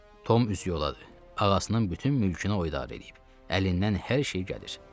Tom üz yoladı, ağasının bütün mülkünü o idarə edir, əlindən hər şey gəlir.